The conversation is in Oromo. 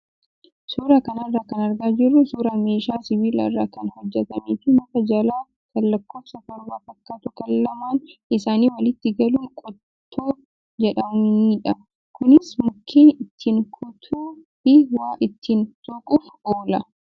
Suuraa kanarraa kan argaa jirru suuraa meeshaa sibiila irraa kan hojjatamee fi muka jallaa kan lakkoofsa torba fakkaatu kan lamaan isaanii walitti galuun qottoo jedhamanidha. Kunis mukkeen ittiin kutuu fi waa ittiin soquuf oola.